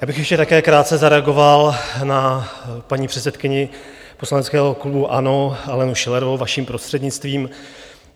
Já bych ještě také krátce zareagoval na paní předsedkyni poslaneckého klubu ANO Alenu Schillerovou, vaším prostřednictvím.